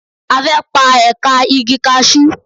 A fẹ́ pa ẹ̀ka igi kasú.